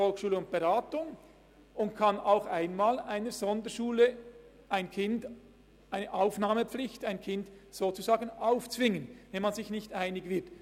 Es kann auch einmal einer Sonderschule die Pflicht zur Aufnahme eines Kindes quasi aufzwingen, wenn man sich nicht einig wird.